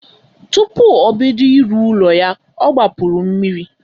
Tupu obodo ịrụ ụlọ ya ọ gbapuru mmiri.